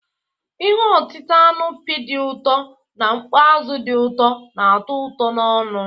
Ihe otita anụ pi dị ụtọ na mkpọ azụ di uto na-ato uto n'onu.